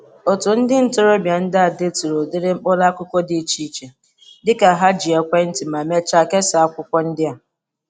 Otu ndị ntorobia ndị a deturu udiri mkpuru akụkụ dị iche iche dịka ha ji ekwe nti ma mechaa kesa akwukwo ndi a.